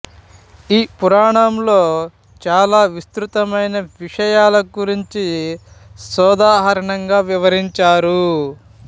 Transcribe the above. ఈ పురాణంలో చాలా విస్తృతమైన విషయాల గురించి సోదాహరణంగా వివరించారు